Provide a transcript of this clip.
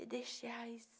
E deixei a raiz.